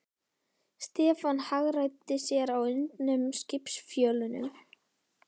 Stefán hagræddi sér á undnum skipsfjölunum.